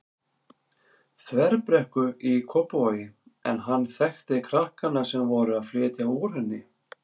Þverbrekku í Kópavogi en hann þekkti krakkana sem voru að flytja úr henni.